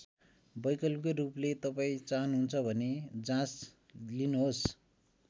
वैकल्पिक रूपले तपाईँ चाहनुहुन्छ भने जाँच लिनुहोस्।